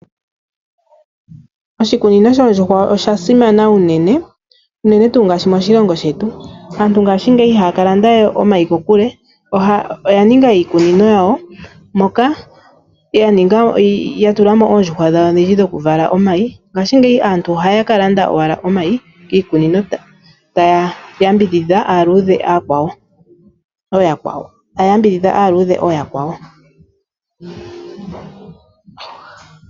Oshikunino shoondjuhwa osha simana unene ngaashi moshilongo shetu. Aantu ngashingeyi ihaya ka landa we omayi kokule, oya ninga iikunino yawo moka taya munu oondjuhwa odhindji dhokuvala omayi. Ngashingeyi aantu ohaya ka landa owala omayi kiikunino yoondjuhwa taya yambidhidha aaluudhe ooyakwawo.